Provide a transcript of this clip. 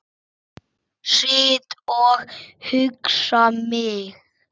Sit og hugsa mitt.